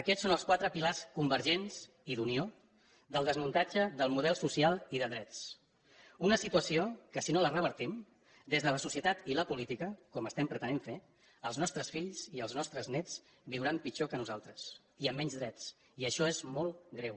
aquests són els quatre pilars convergents i d’unió del desmuntatge del model social i de drets una situació en què si no la revertim des de la societat i la política com estem pretenent fer els nostres fills i els nostres néts viuran pitjor que nosaltres i amb menys drets i això és molt greu